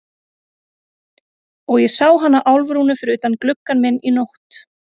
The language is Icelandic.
Og ég sá hana Álfrúnu fyrir utan gluggann minn í nótt.